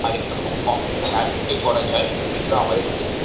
আর এখানে খুব কম দামে নাইট স্টেই করা যায় এগুলো আমাদের পক্ষে খুবই।